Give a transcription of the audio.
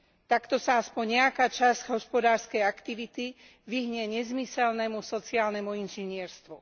Takto sa aspoň nejaká časť hospodárskej aktivity vyhne nezmyselnému sociálnemu inžinierstvu.